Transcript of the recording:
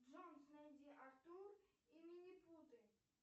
джонс найди артур и минипуты